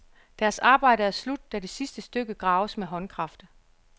Deres arbejde er slut, da det sidste stykke graves med håndkraft.